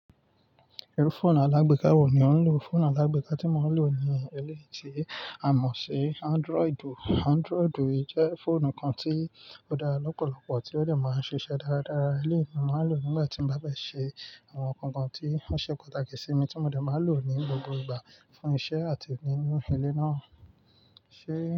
Irú fóònù alágbèéká wo ni ò ń lò? Fóònù alágbèéká tí mo ń lò ni éleyí ti àmọ̀ ṣi, Android. Android jẹ́ fóònù kan tí ó dára lọ́pọ̀lọpọ̀ tí ó de máa ń ṣiṣẹ́ dáradára. Eleyì ni mo máa ń lò nígbà tí mo bá bẹ́ ṣe àwọn nǹkan kan tí ó ṣe pàtàkì sí mi tí mo dẹ̀ máa lò ní gbogbo ìgbà fún iṣẹ́ àti nínú ilé náà. Ṣé?